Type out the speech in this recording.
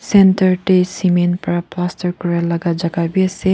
centre teh cement pra plaster kura laga jaka bi ase.